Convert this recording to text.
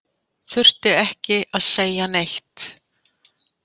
Þurfti ekki að segja neitt.